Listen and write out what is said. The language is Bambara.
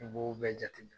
I b'o bɛɛ jateminɛ